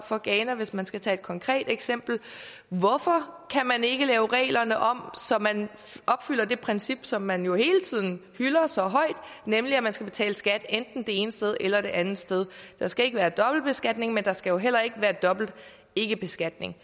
og ghana hvis man skal tage et konkret eksempel hvorfor kan man ikke lave reglerne om så man opfylder det princip som man jo hele tiden hylder så højt nemlig at man skal betale skat enten det ene sted eller det andet sted der skal ikke være dobbeltbeskatning men der skal jo heller ikke være dobbelt ikkebeskatning